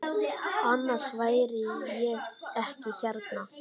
Annars væri ég ekki hérna.